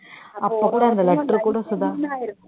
அப்போ கூட அந்த letter கூட சுதா